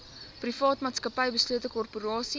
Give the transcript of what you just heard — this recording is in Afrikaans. privaatmaatsappy beslote korporasie